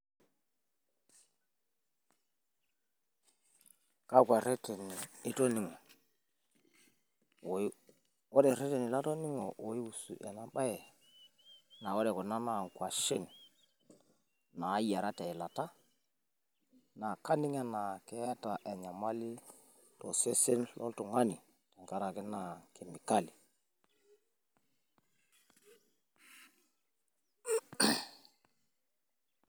kakua reteni toningo. ore ireteni latoning'o oiwusu ena bae. ore kuna naa ngwashen, naayiara teilata. naa kaning anaa keeta enyamali tosesen loltungani tenkaraki naa kemikali.